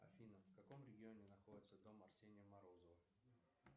афина в каком регионе находится дом арсения морозова